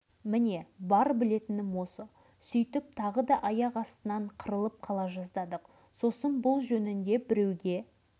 кейіннен мен мұны аудан басшыларына айтып едім сен шал қайдағыны қоқсытып жүреді екенсің деп өзімді біраз жерге апарып